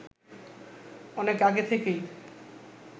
অনেক আগে থেকেই